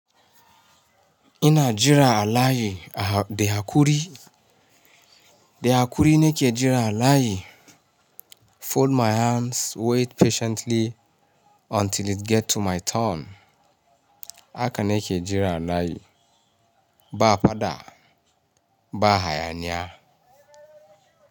Ina jira a layi da hakuri, de hakuri na ke jira a layi. Fold my hands, wait patiently until it get to my turn. Haka ne ke jira a layi. Ba a faɗa, ba a hayaniya.